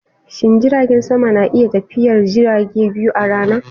Shin jiragen sama na iya tafiyar jirage biyu a rana?